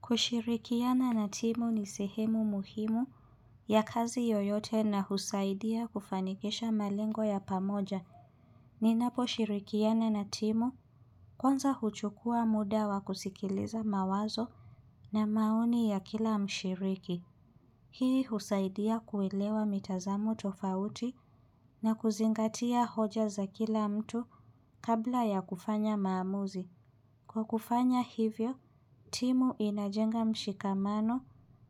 Kushirikiana na timu ni sehemu muhimu ya kazi yoyote na husaidia kufanikisha malingo ya pamoja. Ninaposhirikiana na timu kwanza huchukua muda wa kusikiliza mawazo na maoni ya kila mshiriki. Hii husaidia kuilewa mitazamo tofauti na kuzingatia hoja za kila mtu kabla ya kufanya maamuzi. Kwa kufanya hivyo, timu inajenga mshikamano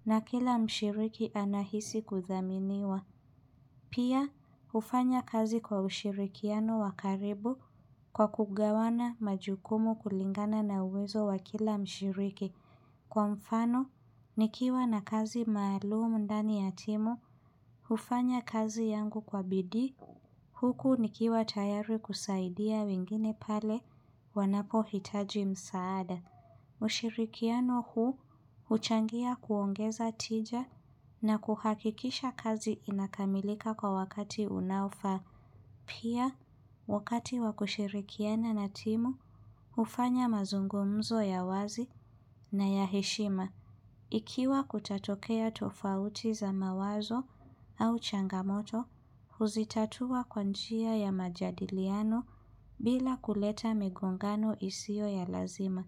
na kila mshiriki anahisi kudhaminiwa. Pia, hufanya kazi kwa ushirikiano wakaribu kwa kugawana majukumu kulingana na uwezo wa kila mshiriki. Kwa mfano, nikiwa na kazi maalumu ndani ya timu, hufanya kazi yangu kwa bidii. Huku nikiwa tayari kusaidia wengine pale wanapo hitaji msaada. Ushirikiano huu huchangia kuongeza tija na kuhakikisha kazi inakamilika kwa wakati unaofaa. Pia, wakati wakushirikiana na timu, hufanya mazungumzo ya wazi na ya heshima. Ikiwa kutatokea tofauti za mawazo au changamoto, huzitatua kwa njia ya majadiliano bila kuleta migongano isio ya lazima.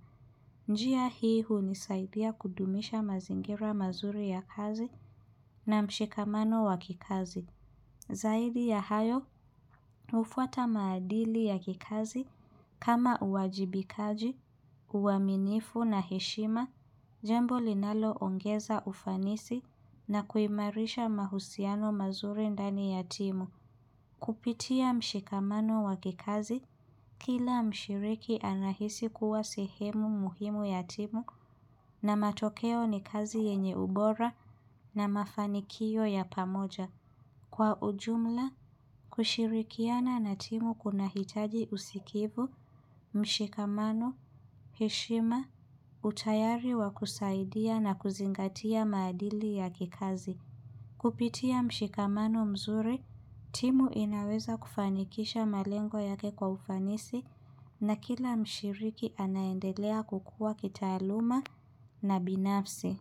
Njia hii hunisaidhia kudumisha mazingira mazuri ya kazi na mshikamano wa kikazi. Zaidi ya hayo, hufwa maadili ya kikazi kama uwajibikaji, uwaminifu na heshima, jambo linalongeza ufanisi na kuimarisha mahusiano mazuri ndani ya timu. Kupitia mshikamano wa kikazi, kila mshiriki anahisi kuwa sehemu muhimu ya timu na matokeo ni kazi yenye ubora na mafanikio ya pamoja. Kwa ujumla, kushirikiana na timu kuna hitaji usikivu, mshikamano, heshima, utayari wa kusaidia na kuzingatia maadili ya kikazi. Kupitia mshikamano mzuri, timu inaweza kufanikisha malengo yake kwa ufanisi na kila mshiriki anaendelea kukua kitaaluma na binafsi.